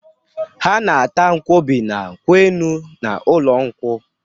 Ha na-ata nkwọbi na kwụ enu n'ụlọ nkwụ.